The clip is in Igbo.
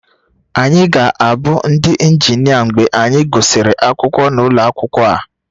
Anyị ga-abụ ndị injinia mgbe anyị gụsịrị akwụkwọ n'ụlọ akwụkwọ a